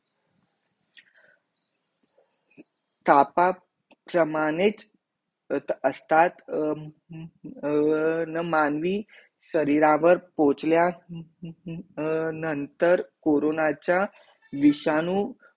तापा प्रमाणीत असतात ना मानवी शरीलावर पोचल्या नंतर कोरोनाचा विषाणू